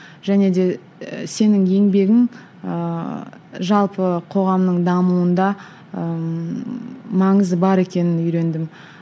және де і сенің еңбегің ыыы жалпы қоғамның дамуында ыыы маңызы бар екенін үйрендім